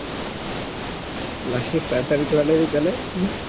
plastic surgery করে লিবি তালে